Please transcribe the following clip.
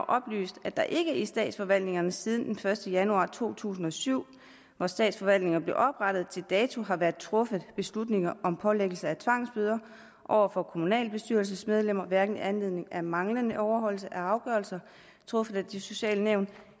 oplyst at der ikke i statsforvaltningerne siden den første januar to tusind og syv hvor statsforvaltningerne blev oprettet til dato har været truffet beslutninger om pålæggelse af tvangsbøder over for kommunalbestyrelsesmedlemmer hverken i anledning af manglende overholdelse af afgørelser truffet af de sociale nævn